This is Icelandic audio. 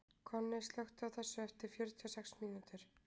Konni, slökktu á þessu eftir fjörutíu og sex mínútur.